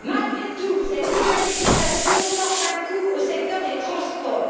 Malgré tout, cette nouvelle législation porte un coup au secteur des transports.